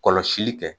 Kɔlɔsili kɛ